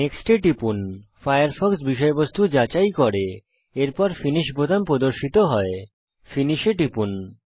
next এ টিপুন Firefox বিষয়বস্তু যাচাই করে এরপর ফিনিশ বোতাম প্রদর্শিত হয় ফিনিশ এ টিপুন